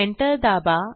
enter दाबा